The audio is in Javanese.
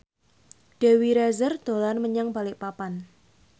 Dewi Rezer dolan menyang Balikpapan